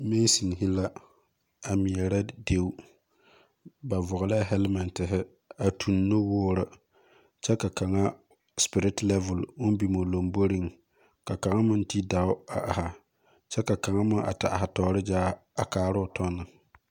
Masoni la meere deɛ ba vɔgle helmentiri a tun nuwuuri kye ka kanga spirit level ln bing ɔ lɔmbori ka kanga meng te daa a arẽ kye ka kanga meng a te arẽ toori zaa a kaara ɔ tɔ ne.